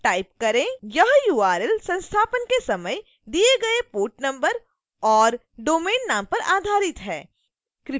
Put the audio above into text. यह url संस्थापन के समय दिए गए port number और domain नाम पर आधारित है